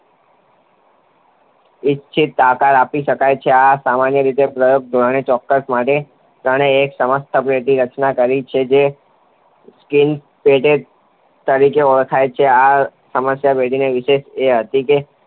ઈચ્છિત આકાર આપી શકાય છે. આ સામાન્ય રીતે પ્રાયોગિક ધોરણે ચકાસવા માટે તેમણે એક સમસ્યાપેટીની રચના કરી, જે સ્કિનર પેટી તરીકે ઓળખાય છે. આ સમસ્યાપેટીની વિશેષતા એ હતી કે